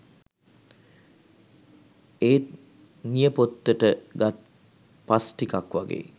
එත් නියපොත්තට ගත් පස්ටිකක් වගේ